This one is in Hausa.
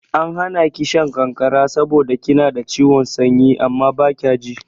An hana ki shan ƙanƙara saboda kina da ciwon sanyi amma baki ji.